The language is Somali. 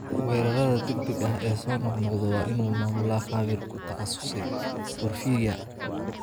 Weerarada degdega ah ee soo noqnoqda waa in uu maamulaa khabiir ku takhasusay porphyria.